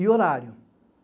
E horário.